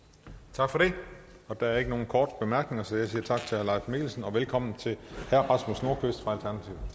tak for det der er ikke nogen korte bemærkninger så jeg siger tak til herre mikkelsen og velkommen til herre